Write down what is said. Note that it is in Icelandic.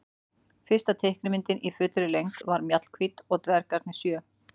Fyrsta teiknimyndin í fullri lengd var Mjallhvít og dvergarnir sjö.